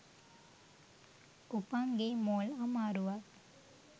උපං ගෙයි මෝල් අමාරුවක්.